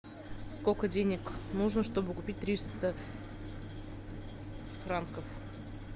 сколько денег нужно чтобы купить триста франков